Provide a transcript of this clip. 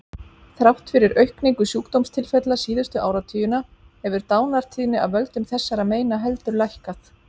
Þrátt fyrir aukningu sjúkdómstilfella síðustu áratugina hefur dánartíðni af völdum þessara meina heldur lækkað.